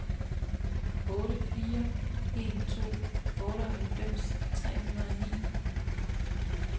otte fire en to otteoghalvfems tre hundrede og ni